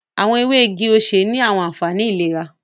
Awọn ewe igi osè ni awọn anfani ilera